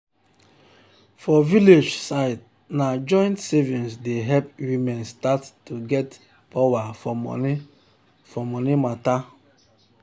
for village side na joint savings dey help women start to get power for money power for money matter.